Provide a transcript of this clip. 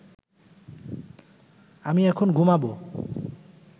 আমি এখন ঘুমাব